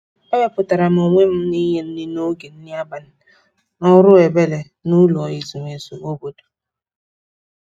e wepụtara onwe m inye nri n'oge nri abalị ọrụ ebere n'ụlọ ezumezu obodo